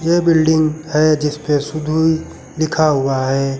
यह बिल्डिंग है जिस पे सुदुइ लिखा हुआ है।